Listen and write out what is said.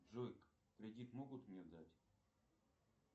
джой кредит могут мне дать